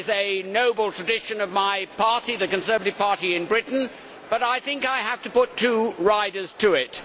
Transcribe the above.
That is a noble tradition of my party the Conservative Party in Britain but I think I have to put two riders to it.